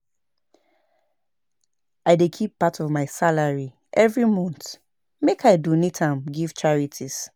I dey keep part of my salary every month make I donate am give charities.